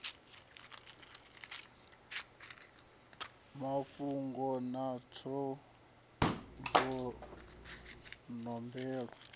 mavhungo ṱhanzwa maṱamvu mahuyu nombelo